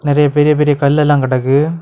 நெறியா பெரிய பெரிய கல்லெல்லா கிடக்கு.